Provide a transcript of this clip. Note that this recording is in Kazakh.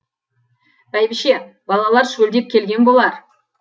бәйбіше балалар шөлдеп келген болар